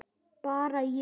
Bara ég.